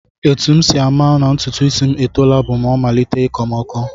Etu m si ama na ntụtụisi m etoola bụ o malite ịkọ m ọkọ